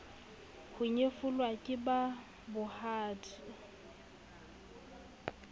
ho nyefolwa ke ba bohadi